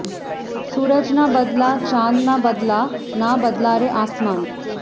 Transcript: সুরজ না বদলা চাঁদ না বদলা না বদলা রে আসমান